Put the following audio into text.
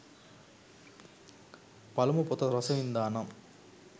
පළමු පොත රස වින්දා නම්